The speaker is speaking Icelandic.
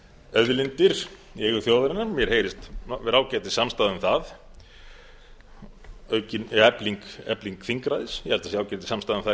auðlindir í eigu þjóðarinnar mér heyrist vera ágætissamstaða um það efling þingræðis ég held að það sé ágætissamstaða um það